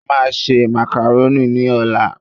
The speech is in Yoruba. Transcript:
A máa se màkàrónì ní ọ̀la